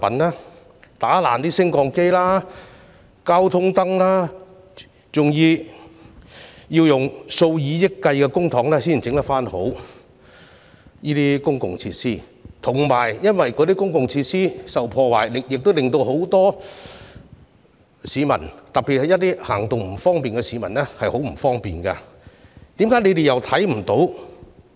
他們破壞了升降機和交通燈，這些公共設施需要花上數以億元的公帑才可修復，而且公共設施受到破壞，亦使很多市民，特別是一些行動不便的市民感到不便，為何他們又看不到呢？